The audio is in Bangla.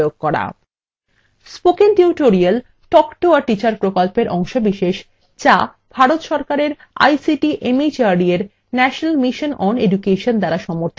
spoken tutorial talk to a teacher প্রকল্পের অংশবিশেষ যা ভারত সরকারের ict mhrd এর national mission on education দ্বারা সমর্থিত